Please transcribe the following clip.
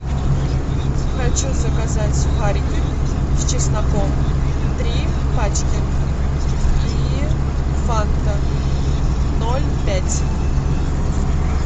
хочу заказать сухарики с чесноком три пачки и фанта ноль пять